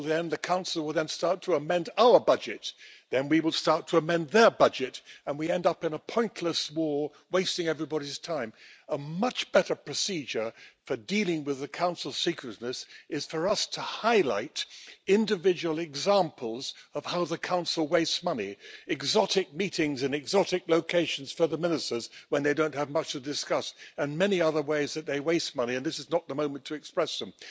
The Council will then start to amend our budget, then we will start to amend their budget and we end up in a pointless war, wasting everybody's time. A much better procedure for dealing with the Council's secretiveness is for us to highlight individual examples of how the Council wastes money exotic meetings in exotic locations for the ministers when they don't have much to discuss, and many other ways that they waste money and this is not the moment to express them.